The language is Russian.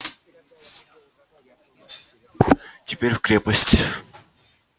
теперь в крепость